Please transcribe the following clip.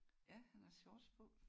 Ja han har shorts på